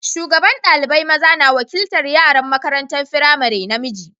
Shugaban dalibain maza na wakiltar yaran makarantan firamari namiji.